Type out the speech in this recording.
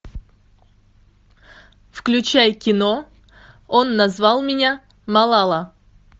включай кино он назвал меня малала